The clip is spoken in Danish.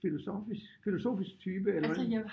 Filosofisk filosofisk type eller hvordan?